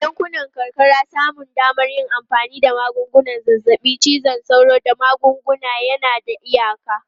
A yankunan karkara, samun damar yin amfani da magungunan zazzabin cizon sauro da magunguna yana da iyaka.